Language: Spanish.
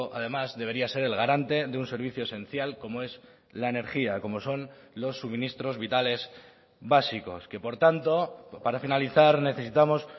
además debería ser el garante de un servicio esencial como es la energía como son los suministros vitales básicos que por tanto para finalizar necesitamos